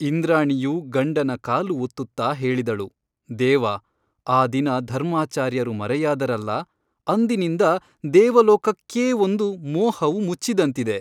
ಇಂದ್ರಾಣಿಯು ಗಂಡನ ಕಾಲು ಒತ್ತುತ್ತಾ ಹೇಳಿದಳು ದೇವ ಆ ದಿನ ಧರ್ಮಾಚಾರ್ಯರು ಮರೆಯಾದರಲ್ಲ ಅಂದಿನಿಂದ ದೇವಲೋಕಕ್ಕೇ ಒಂದು ಮೋಹವು ಮುಚ್ಚಿದಂತಿದೆ.